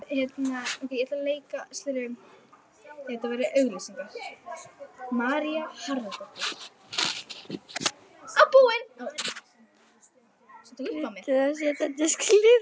Kryddið og setjið á disk til hliðar.